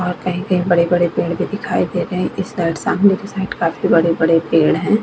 और कही-कही बड़े-बड़े पेड़ भी दिखाई दे रहे है इस साइड सामने के साइड काफी बड़े-बड़े पेड़ है ।